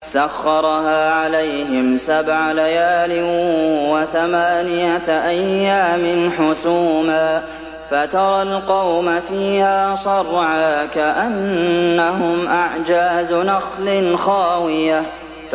سَخَّرَهَا عَلَيْهِمْ سَبْعَ لَيَالٍ وَثَمَانِيَةَ أَيَّامٍ حُسُومًا فَتَرَى الْقَوْمَ فِيهَا صَرْعَىٰ كَأَنَّهُمْ أَعْجَازُ نَخْلٍ خَاوِيَةٍ